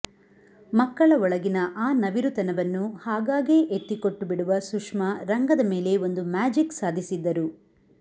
ಮಕ್ಕಳ ಒಳಗಿನ ಆ ನವಿರುತನವನ್ನು ಹಾಗಾಗೇ ಎತ್ತಿ ಕೊಟ್ಟು ಬಿಡುವ ಸುಷ್ಮಾ ರಂಗದ ಮೇಲೆ ಒಂದು ಮ್ಯಾಜಿಕ್ ಸಾಧಿಸಿದ್ದರು